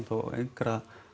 á engra